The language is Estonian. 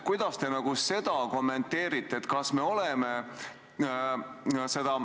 Kuidas te seda kommenteerite?